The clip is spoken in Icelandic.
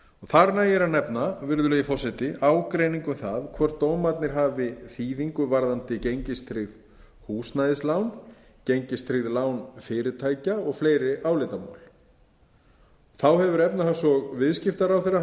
þar nægir að nefna virðulegi forseti ágreining um hvort dómarnir hafi þýðingu varðandi gengistryggð húsnæðislán gengistryggð lán fyrirtækja og fleiri álitamál þá hefur hæstvirtur efnahags og viðskiptaráðherra boðað aðgerðir